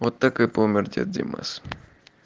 вот так и помер дед димас